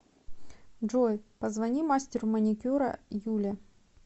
джой позвони мастеру маникюра юле